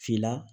Finna